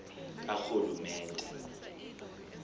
karhulumente